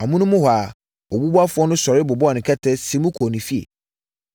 Amonom hɔ ara, obubuafoɔ no sɔre bobɔɔ ne kɛtɛ, siim kɔɔ ne fie!